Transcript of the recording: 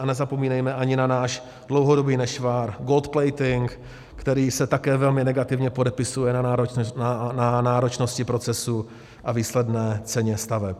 A nezapomínejme ani na náš dlouhodobý nešvar, gold plating, který se také velmi negativně podepisuje na náročnosti procesu a výsledné ceně staveb.